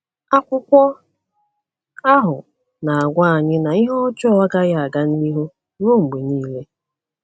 Akwụkwọ ahụ na - agwa anyị na ihe ọjọọ agaghị aga n’ihu ruo mgbe niile.